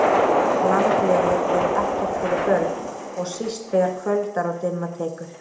Landlegur eru ekkert fyrir börn og síst þegar kvöldar og dimma tekur